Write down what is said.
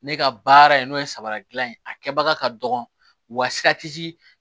Ne ka baara ye n'o ye sabara dilan ye a kɛbaga ka dɔgɔ wa